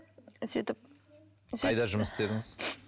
сөйтіп қайда жұмыс істедіңіз